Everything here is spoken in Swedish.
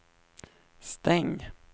stäng